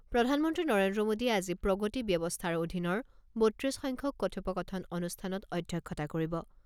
সমাপ্ত প্ৰধানমন্ত্ৰী নৰেন্দ্ৰ মোদীয়ে আজি প্ৰগতি ব্যৱস্থাৰ অধীনৰ বত্ৰিছ সংখ্যক কথোপকথন অনুষ্ঠানত অধ্যক্ষতা কৰিব।